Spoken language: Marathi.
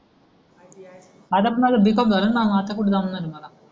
आता तर माझ णा b. झाल णा आता कुठ जास्त झाल मला